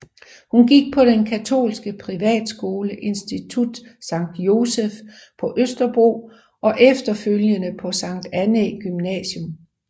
Hun gik på den katolske privatskole Institut Sankt Joseph på Østerbro og efterfølgende på Sankt Annæ Gymnasium